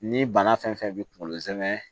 Ni bana fɛn fɛn b'i kunkolo zɛmɛ